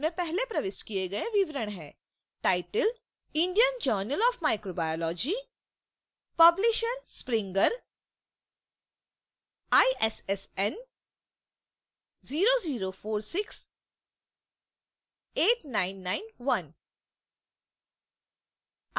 इसमें पहले प्रविष्ट किए गए विवरण हैं: